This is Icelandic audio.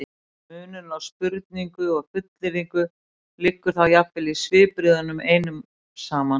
munurinn á spurningu og fullyrðingu liggur þá jafnvel í svipbrigðunum einum saman